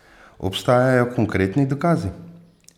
Obstajajo konkretni dokazi?